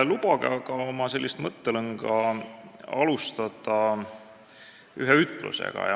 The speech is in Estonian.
Lubage mul aga oma mõttelõnga alustada ühe ütlusega.